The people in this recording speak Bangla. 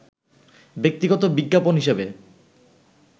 ব্যক্তিগত বিজ্ঞাপন হিসেবে